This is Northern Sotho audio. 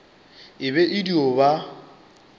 e be e dio ba